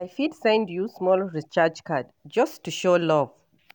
I fit send you small recharge card, just to show love.